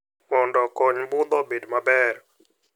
Mondo okony budho obed maber.